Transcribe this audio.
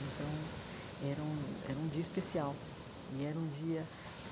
Então, era um era um dia especial e era um dia.